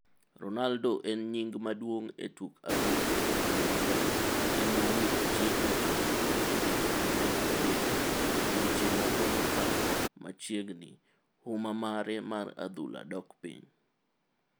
Ronaldo en nying maduong e tuk adhula kendo maber ,en mana ni ochiegni chopo higni 33dweche moko mokalo machiegni huma mare mar adhula dok piny.